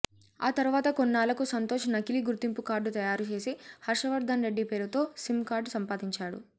ఆ తర్వాత కొన్నాళ్లకు సంతోష్ నకిలీ గుర్తింపు కార్డు తయారుచేసి హర్షవర్ధన్ రెడ్డి పేరుతో సిమ్ కార్డు సంపాదించాడు